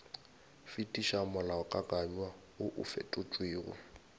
fetiša molaokakanywa woo o fetotšwego